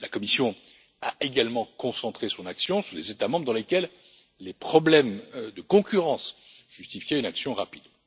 La Commission a également concentré son action sur les États membres dans lesquels des problèmes de concurrence justifiaient une action rapide.